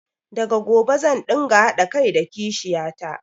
Daga gobe zan ɗinga haɗa kai da kishiyata